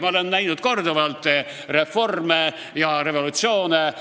Ma olen korduvalt reforme ja revolutsioone näinud.